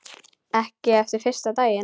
Ekki eftir fyrsta daginn.